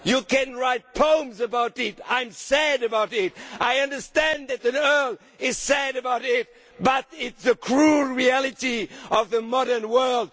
You can write poems about it, I am sad about it, I understand that the Earl is sad about it, but it is the cruel reality of the modern world.